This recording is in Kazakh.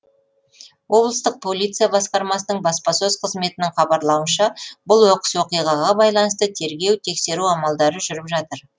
облыстық полиция басқармасының баспасөз қызметінің хабарлауынша бұл оқыс оқиғаға байланысты тергеу тексеру амалдары жүріп жатыр